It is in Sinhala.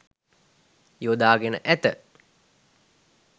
යොදාගෙන ඇත.